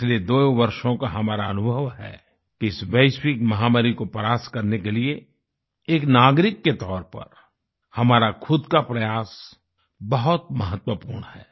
पिछले दो वर्षों का हमारा अनुभव है कि इस वैश्विक महामारी को परास्त करने के लिए एक नागरिक के तौर पर हमारा खुद का प्रयास बहुत महत्वपूर्ण है